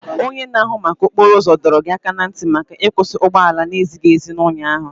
Onye na-ahụ maka okporo ụzọ dọrọ gị aka ná ntị maka ịkwusi ụgbọala na-ezighị ezi ụnyaahụ.